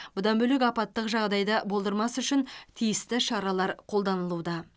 бұдан бөлек апаттық жағдайды болдырмас үшін тиісті шаралар қолданылуда